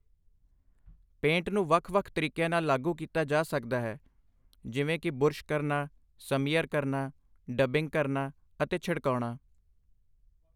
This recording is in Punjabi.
ਪੇਂਟ ਨੂੰ ਵੱਖ ਵੱਖ ਤਰੀਕਿਆਂ ਨਾਲ ਲਾਗੂ ਕੀਤਾ ਜਾ ਸਕਦਾ ਹੈ, ਜਿਵੇਂ ਕਿ ਬੁਰਸ਼ ਕਰਨਾ, ਸਮੀਅਰ ਕਰਨਾ, ਡੱਬਿੰਗ ਕਰਨਾ ਅਤੇ ਛਿੜਕਾਉਣਾ